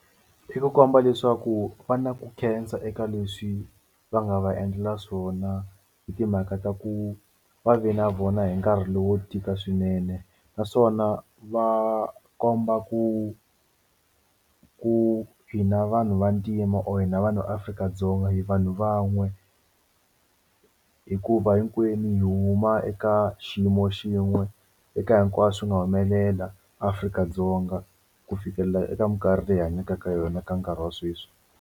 I ku komba leswaku va na ku khensa eka leswi va nga va endlela swona hi timhaka ta ku ve na vona hi nkarhi lowu wo tika swinene naswona va komba ku ku hina vanhu vantima or hina vanhu Afrika-Dzonga hi vanhu van'we hikuva hinkwenu hi huma eka xiyimo xin'we eka hinkwaswo swi nga humelela Afrika-Dzonga ku fikelela eka minkarhi leyi hi hanyaka ka yona ka nkarhi wa sweswi.